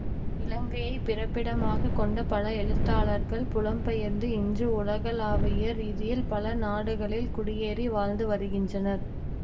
இலங்கையைப் பிறப்பிடமாக கொண்ட பல எழுத்தாளர்கள் புலம்பெயர்ந்து இன்று உலகளாவிய ரீதியில் பல நாடுகளில் குடியேறி வாழ்ந்து வருகின்றனர்